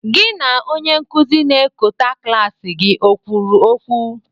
Gị na onye nkuzi na ekọta klaasị gị o kwuru okwu?